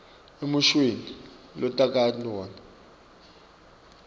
emushweni lotakhele wona